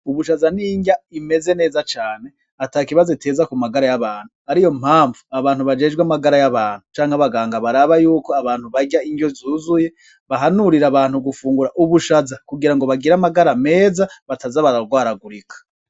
Ubushaza nindya imeze neza cane ata kibazo iteza ku magara y'abantu ari yo mpamvu abantu bajejwe amagara y'abantu canke abaganga baraba yuko abantu barya indyo zuzuye bahanurira abantu gufungura ubushaza kugira ngo bagira amagara meza batazabararwaragurika.